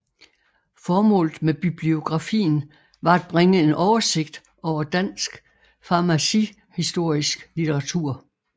Formålet med bibliografien var at bringe en oversigt over dansk farmacihistorisk litteratur